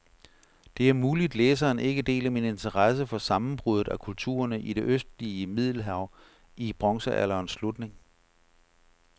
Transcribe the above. Det er muligt, læseren ikke deler min interesse for sammenbruddet af kulturerne i det østlige middelhav i bronzealderens slutning.